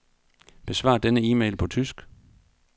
Besvar denne e-mail på tysk.